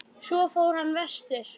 Svo fór hann vestur.